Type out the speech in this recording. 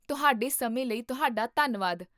ਤੁਹਾਡੇ ਸਮੇਂ ਲਈ ਤੁਹਾਡਾ ਧੰਨਵਾਦ!